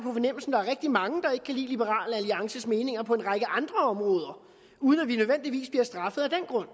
er rigtig mange der ikke kan lide liberal alliances meninger på en række andre områder uden at vi nødvendigvis bliver straffet af den grund